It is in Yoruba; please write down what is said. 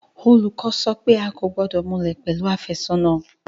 Olùkọ́ sọ pé a kò gbọ́dọ̀ múlẹ̀ pẹ̀lú àfẹ́sọ́nà